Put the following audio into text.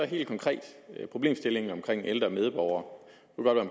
helt konkret problemstillingen omkring ældre medborgere